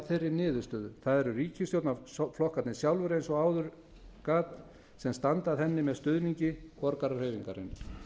þeirri niðurstöðu það eru ríkisstjórnarflokkarnir sjálfir eins og áður gat sem standa að henni með stuðningi borgarahreyfingarinnar